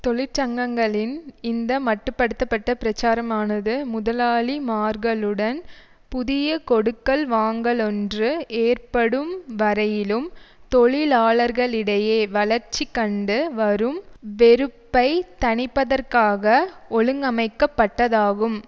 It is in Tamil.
தொழிற்சங்கங்களின் இந்த மட்டு படுத்த பட்ட பிரச்சாரமானது முதலாளிமார்களுடன் புதிய கொடுக்கல் வாங்கலொன்று ஏற்படும் வரையிலும் தொழிலாளர்களிடையே வளர்ச்சிகண்டு வரும் வெறுப்பை தணிப்பதற்காக ஒழுங்கமைக்கப்பட்டதாகும்